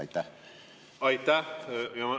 Aitäh!